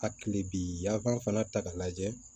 Hali bi yafan fana ta k'a lajɛ